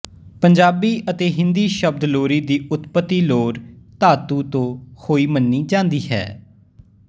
ਪੰਜਾਬੀ ਅਤੇ ਹਿੰਦੀ ਸ਼ਬਦ ਲੋਰੀ ਦੀ ਉਤਪਤੀ ਲੋਰ ਧਾਤੂ ਤੋਂ ਹੋਈ ਮੰਨੀ ਜਾਂਦੀ ਹੈ